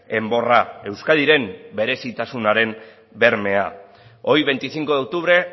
enborra euskadiren berezitasunaren bermea hoy veinticinco de octubre